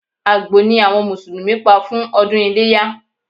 Àgbò ni àwọn Mùsùlùmí pa fún ọdún iléyá